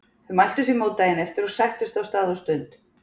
Þau mæltu sér mót daginn eftir og sættust á stað og stund.